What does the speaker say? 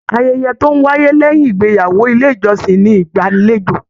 Ayẹyẹ tó n wáyé lẹyìn ìgbéyàwó ilé ìjọsìn ní ìgbàlèjo.